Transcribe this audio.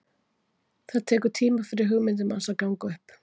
Það tekur tíma fyrir hugmyndir manns að ganga upp.